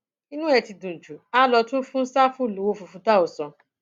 inú ẹ ti dùn jù á lọ tún fún ṣáfù lọwọ fíìfù táọsán